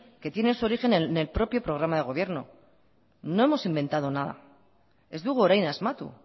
que tiene su origen en el propio programa de gobierno no hemos inventado nada ez dugu orain asmatu